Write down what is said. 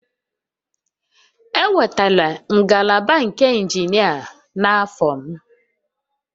E wetara ngalaba nke injinia n'afọ m